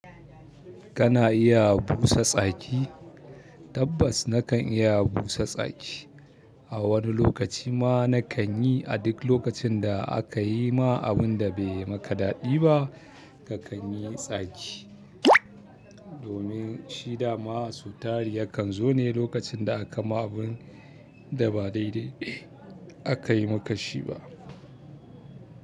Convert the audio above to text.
Kana iya busa tsaki? Tabbas nakan iya busa tsaki. A wani lokaci ma na kan yi. A duk lokacin da aka yi ma abun da bai maka daɗi ba ka kan yi tsaki. Domin shi da ma asutari ya kan zo ne lokacin da aka ma abun da ba daidai aka yi maka shi ba.